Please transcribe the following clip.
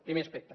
primer aspecte